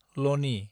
लनि